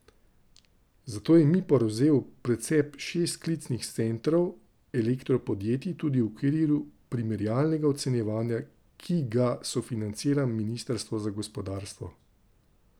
Zato je Mipor vzel v precep šest klicnih centrov elektropodjetij tudi v okviru primerjalnega ocenjevanja, ki ga sofinancira ministrstvo za gospodarstvo.